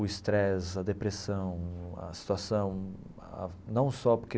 O estresse, a depressão, a situação, ah não só porque...